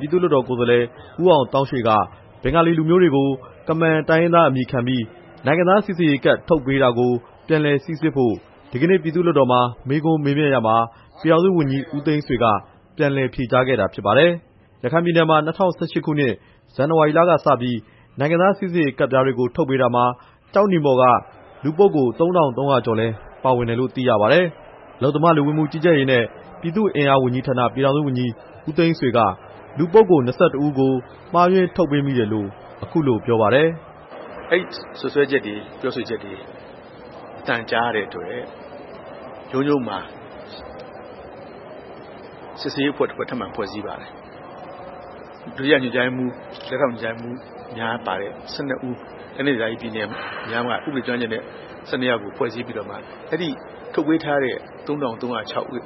ပြည်သူ့လွှတ်တော် ကိုယ်စားလှယ် ဦးအောင်သောင်းရွှေက ဘင်္ဂါလီလူမျိုးတွေကို ကမန် တိုင်းရင်းသား အမည်ခံပြီး နိုင်ငံသားစိစစ်ရေးကတ် ထုတ်ပေးတာကို ပြန်လည်စိစစ်ဖို့ ဒီနေ့ ပြည်သူ့လွှတ်တော်မှာ မေးမြန်းရာမှာ ပြည်ထောင်စုဝန်ကြီး ဦးသိန်းဆွေ က ပြန်လည်ဖြေကြားခဲ့တာဖြစ်ပါတယ်။ ရခိုင်ပြည်နယ်မှာ ၂၀၁၈ ခုနှစ်၊ ဇန်နဝါရီလကစပြီး နိုင်ငံသားစိစစ်ကတ်ပြားတွေ ထုတ်ပေးတာမှာ ကျောက်နီမော်က လူပုဂ္ဂိုလ် ၃၃၀၀ ကျော်လည်း ပါဝင်တယ်လို့ သိရပါတယ်။ အလုပ်သမား၊ လူဝင်မှုကြီးကြပ်ရေးနဲ့ ပြည်သူ့အင်အားဝန်ကြီးဌာန၊ ပြည်ထောင်စုဝန်ကြီး ဦးသိန်းဆွေက လူပုဂ္ဂိုလ် ၂၁ ဦးကို မှားယွင်းထုတ်ပေးမိတယ်လို့ အခုလိုပြောပါတယ်။ "ဒုတိယ ညွှန်ကြားရေးမှူး၊ လက်ထောက် ညွှန်ကြားရေးမှူးများ ပါတဲ့ ၁၂ ဦး၊ တိုင်းဒေသကြီးနဲ့ ပြည်နယ်များမှ ဥပဒေကျွမ်းကျင်သူများနဲ့ ဖွဲ့စည်းပြီးမှ အဲ့ဒီထုတ်ပေးထားတဲ့ ၃၃၀၆ ဦး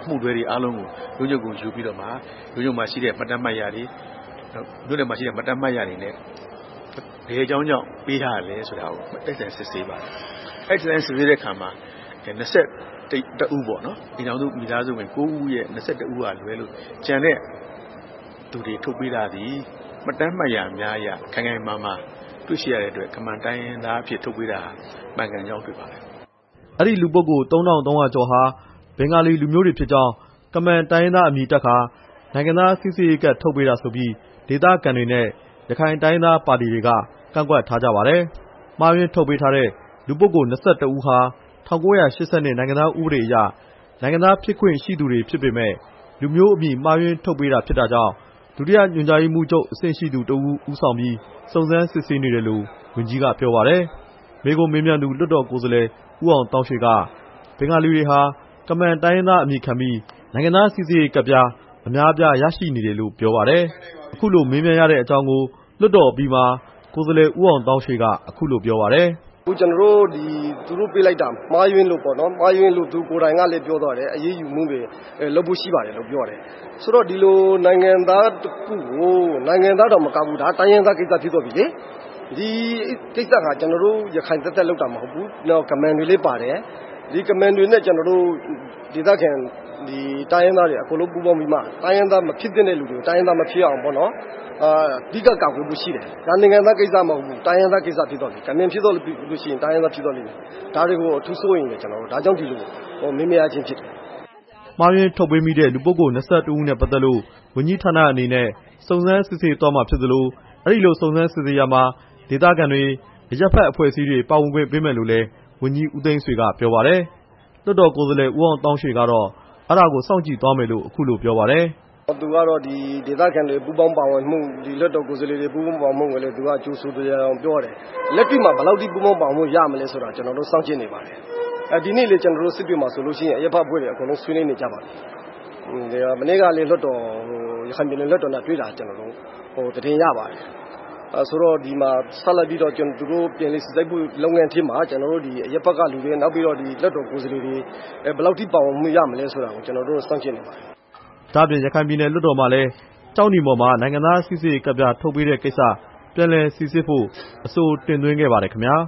အမှုတွဲတွေအားလုံးကို ရုံးချုပ်ကို ယူပြီးတော့မှ ရုံးချုပ်မှာရှိတဲ့ မှတ်တမ်းမှတ်ရာတွေ မြို့နယ်မှာရှိတဲ့ မှတ်တမ်းမှတ်ရာတွေနဲ့ ဘယ်အကြောင်းကြောင့် ပေးတာလည်းဆိုပြီးတော့ တိုက်ဆိုင်စစ်ဆေးပါတယ်၊ အဲ့ဒီအခါမှာ အိမ်ထောင်စု ၉ ခုရဲ့ မိသားစုဝင် ၂၁ ဦးက လွဲပြီး ကျန်တဲ့သူတွေ ထုတ်ပေးတာသည် မှတ်တမ်းမှတ်ရာတွေ ခိုင်ခိုင်မာမာ တွေ့ရှိတဲ့အတွက် ကမန်တိုင်းရင်းသားတွေအဖြစ် ထုတ်ပေးတာ မှန်ကန်မှုရှိပါတယ်" အဲဒီလူပုဂ္ဂိုလ် ၃၃၀၀ ကျော်ဟာ ဘင်္ဂါလီလူမျိုးတွေဖြစ်ကြောင်း ကမန်လူမျိုးအမည်တပ်ကာ နိုင်ငံသားစိစစ်ရေးကတ် ထုတ်ပေးတာဆိုပြီး ဒေသခံတွေနဲ့ ရခိုင်နိုင်ငံရေးပါတီတွေက ကန့်ကွက်ထားကြပါတယ်။ မှားယွင်းထုတ်ပေးထားတဲ့ လူပုဂ္ဂိုလ် ၂၁ ဦးဟာ ၁၉၈၂ နိုင်ငံသားဥပဒေအရ နိုင်ငံသားဖြစ်ခွင့်ရှိသူတွေဖြစ်ပေမယ့် လူမျိုးအမည် မှားယွင်းထုတ်ပေးတာကြောင့် ဒုတိယ ညွှန်ကြားရေးမှူးချုပ် အဆင့်ရှိသူတစ်ဦး ဦးဆောင်ပြီး စုံစမ်းစစ်ဆေးနေတယ်လို့ ဝန်ကြီးက ပြောပါတယ်။ မေးခွန်းမေးမြန်းသူ လွှတ်တော် ကိုယ်စားလှယ် ဦးအောင်သောင်းရွှေ က ဘင်္ဂလီတွေဟာ ကမန်တိုင်းရင်းသားအမည်ခံပြီး နိုင်ငံသားစိစစ်ရေးကတ် အများအပြား ရရှိနေတယ်လို့ ပြောပါတယ်။ အခုလို မေးမြန်းရတဲ့ အကြောင်းကို လွှတ်တော်အပြီးမှာ ကိုယ်စားလှယ် ဦးအောင်သောင်းရွှေ က အခုလိုပြောပါတယ်။ "သူတို့ပေးလိုက်တာ မှားယွင်းလို့ပေါ့နော်။ သူကိုယ်တိုင်ကလည်း ပြောသွားတယ်။ အရေးယူမှုတွေ လုပ်ဖို့ ရှိပါတယ်လို့ ပြောတယ်။ ဒီလို နိုင်ငံသားတောင်မကဘူး တိုင်းရင်းသားကိစ္စဖြစ်သွားပြီ။ ကျနော်တို့ ရခိုင်သပ်သပ် လုပ်တာမဟုတ်ဘူး။ ကမန်တွေလည်း ပါတယ်။ ဒီကမန်တွေနဲ့ ကျနော်တို့ ဒေသခံတိုင်းရင်းသားတွေ အားလုံးပူးပေါင်းပြီး တိုင်းရင်းသားမဖြစ်သင့်တဲ့လူကို တိုင်းရင်းသားမဖြစ်အောင် အဓိကကာကွယ်ဖို့ ရှိတယ်။ ဒါနိုင်ငံသားကိစ္စမဟုတ်ဘူး။ တိုင်းရင်းသားကိစ္စဖြစ်သွားပြီ။ ကမန်ဖြစ်သွားရင် တိုင်းရင်းသားဖြစ်သွားလိမ့်မယ်။ ဒါတွေကို အထူးစိုးရိမ်တယ်။ ဒါကြောင့် ဒီလိုမေးမြန်းရခြင်းဖြစ်တယ်" မှားယွင်းထုတ်ပေးမိတဲ့ လူပုဂ္ဂိုလ် ၂၁ ဦးနဲ့ ပတ်သက်လို့ ဝန်ကြီးဌာနအနေနဲ့ စုံစစ်းစစ်ဆေးသွားမှာဖြစ်သလို အဲဒီလိုစစ်ဆေးရာမှာ ဒေသခံတွေ၊ အရပ်ဖက်အဖွဲ့အစည်းတွေကို ပါဝင်ခွင့်ပေးမယ်လို့လည်း ဝန်ကြီး ဦးသိန်းဆွေက ပြောပါတယ်။ လွှတ်တော် ကိုယ်စားလှယ် ဦးအောင်သောင်းရွှေကတော့ အဲဒါကို စောင့်ကြည့်သွားမယ်လို့ အခုလိုပြောပါတယ်။ "သူကတော့ ဒေသခံတွေ ပူးပေါင်းပါဝင်မှု လွှတ်တော် ကိုယ်စားလှယ်တွေ ပူးပေါင်းပါဝင်မှုကိုလည်း ကြိုဆိုသယောင်ယောင် ပြောတယ်။ လက်တွေ့မှာ ပူးပေါင်းပါဝင်မှု ဘယ်လောက်ရမလဲဆိုတာ ကျနော်တို့ စောင်ကြည့်နေပါတယ်။ ဒီနေ့မှာလဲ ကျနော်တို့ စစ်တွေမှာ ဆိုလို့ရှိရင် အရပ်ဖက်အဖွဲ့တွေ အကုန်လုံးဆွေးနွေးနေကြပါပြီ။ မနေ့ကလည်း ရခိုင်ပြည်နယ် လွှတ်တော်နဲ့ တွေ့တာ ကျနော်တို့ သတင်းရပါတယ်။ ဆိုတော့ ဆက်လက်ပြီးတော့ ပြန်လည်စိစစ်ရေး လုပ်ငန်းထဲမှာ အရပ်ဖက်ကလူတွေ နောက်ပြီး လွှတ်တော် ကိုယ်စားလှယ်တွေ ဘယ်လောက်ထိ ပါဝင်မှုရမလဲဆိုတာကို စောင့်ကြည့်နေပါတယ်" ဒါ့အပြင် ရခိုင်ပြည်နယ် လွှတ်တော်မှာလည်း ကျောက်နီမော်မှာ နိုင်ငံသားစိစစ်ရေးကတ်ပြား ထုတ်ပေးတဲ့ကိစ္စ ပြန်လည်စိစစ်ဖို့ အဆို တင်သွင်းခဲ့ပါသေးတယ်ခင်ဗျာ။